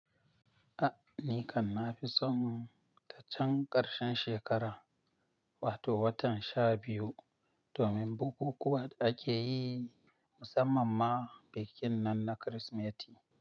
A, ni kam nafi son ta can ƙarshen shekara, wato watan sha biyu domin bukukuwan da ake yi musamman ma bikin nan na Kirsimeti.